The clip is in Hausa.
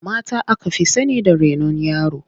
Mata aka fi sani da renon yara.